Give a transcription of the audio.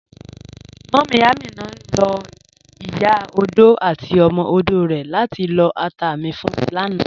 Múmí Amina ló̩ ìyá ọdò àti ọmọ ọdò rè̩ látí lọ́ àtà mi fún mi lànà.